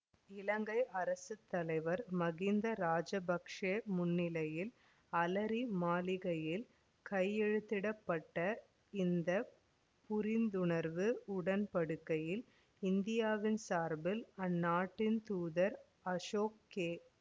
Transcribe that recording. இலங்கை அரசு தலைவர் மகிந்த ராஜபக்ச முன்னிலையில் அலரி மாளிகையில் கையெழுத்திட பட்ட இந்த புரிந்துணர்வு உடன்படிக்கையில் இந்தியாவின் சார்பில் அந்நாட்டின் தூதர் அசோக் கே